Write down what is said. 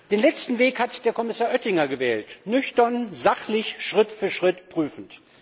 Den letzten Weg hat Herr Kommissar Oettinger gewählt, nüchtern, sachlich, Schritt für Schritt prüfend.